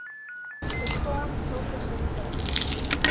bestaan sulke geriewe